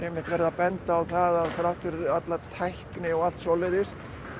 einmitt verið að benda á það að þrátt fyrir alla tækni og allt svoleiðis